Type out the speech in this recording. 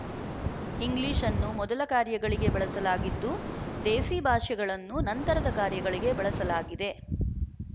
ಇಂಗ್ಲಿಶ್‌ನ್ನು ಮೊದಲ ಕಾರ್ಯಗಳಿಗೆ ಬಳಸಲಾಗಿದ್ದು ದೇಸಿ ಭಾಷೆಗಳನ್ನು ನಂತರದ ಕಾರ್ಯಗಳಿಗೆ ಬಳಸಲಾಗಿದೆ